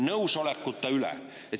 Nõusolekuta üle!